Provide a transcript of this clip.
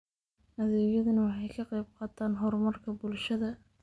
Adeegyadani waxay ka qayb qaataan horumarka bulshada.